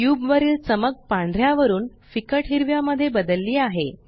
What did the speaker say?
cube वरील चमक पांढऱ्या वरुन फिक्कट हिरव्या मध्ये बदलली आहे